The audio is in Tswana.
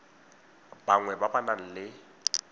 bangwe ba ba nang le